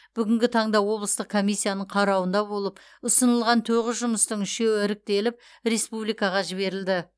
бүгінгі таңда облыстық комиссияның қарауында болып ұсынылған тоғыз жұмыстың үшеуі іріктеліп республикаға жіберілді